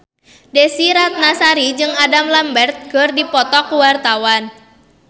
Desy Ratnasari jeung Adam Lambert keur dipoto ku wartawan